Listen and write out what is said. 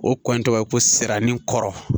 O kɔn in tɔgɔ ye ko siranni kɔrɔ